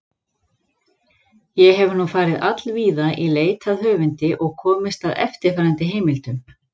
Ég hef nú farið allvíða í leit að höfundi og komist að eftirfarandi heimildum.